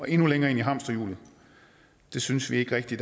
endnu længere ind i hamsterhjulet synes vi ikke rigtig